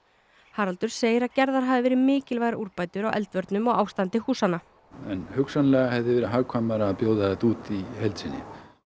Haraldur segir að gerðar hafi verið mikilvægar úrbætur á eldvörnum og ástandi húsanna en hugsanlega hefði verið hagkvæmara að bjóða þetta út í heild sinni